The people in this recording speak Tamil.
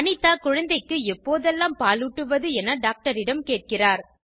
அனிதா குழந்தைக்கு எப்போதெல்லாம் பாலூட்டுவது என டாக்டரிடம் கேட்கிறார்